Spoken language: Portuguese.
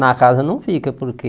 Na casa não fica, porque...